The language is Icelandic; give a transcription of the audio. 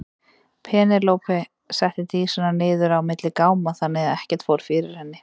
Penélope setti Dísina niður á milli gáma þannig að ekkert fór fyrir henni.